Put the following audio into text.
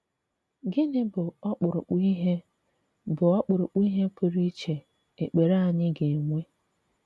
Gịnị bụ̀ ọkpụ̀rụ̀kpụ̀ ihé bụ̀ ọkpụ̀rụ̀kpụ̀ ihé pụrụ íchè ekpere anyị ga-enwe?